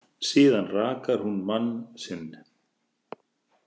Síðan rakar hún mann sinn.